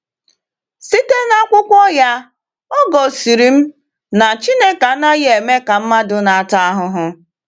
Site n’akwụkwọ ya, o gosiri m na Chineke anaghị eme ka mmadụ na-ata ahụhụ.